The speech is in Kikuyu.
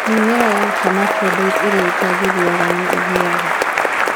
Mĩmera ya Hermaphrodite ĩrĩa ĩtangĩgĩaga nĩ ĩgĩaga